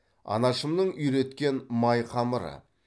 анашымның үйреткен май қамыры